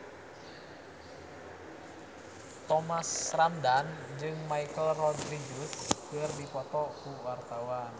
Thomas Ramdhan jeung Michelle Rodriguez keur dipoto ku wartawan